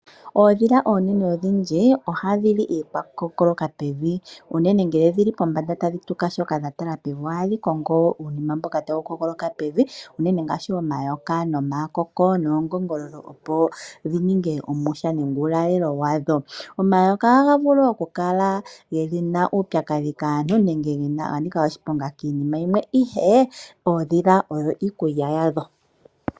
Oondhila odhindji ohadhi li iikwakukookoloka pevi. Unene ngele odhili pombanda shoka tadhi tuka dha tala pevi ohadhi kongo uunima mboka tawu kookoloka pevi unene ngaashi omayoka nomakoko noongoongololo opo dhi ninge omwiha nenge uulalelo wadho. Omayoka ohaga vulu oku kala ge na uupyakadhi kaantu nenge kannika oshiponga kiinima yimwe ihe koondhila ogo iikulya yadho.